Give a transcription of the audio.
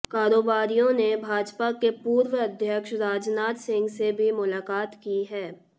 कारोबारियों ने भाजपा के पूर्व अध्यक्ष राजनाथ सिंह से भी मुलाकात की है